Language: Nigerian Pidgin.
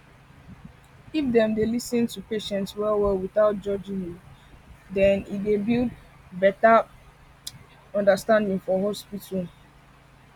if dem dey lis ten to patients well well without judging um them e dey build better build better understanding for hospital